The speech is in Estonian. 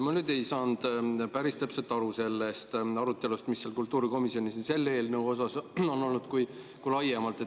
Ma nüüd ei saanud päris täpselt aru sellest arutelust, mis seal kultuurikomisjonis on olnud nii selle eelnõu üle kui ka laiemalt.